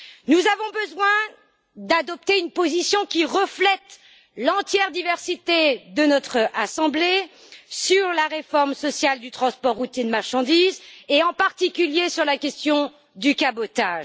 Nous avons besoin d'adopter une position qui reflète l'entière diversité de notre assemblée sur la réforme sociale du transport routier de marchandises et en particulier sur la question du cabotage.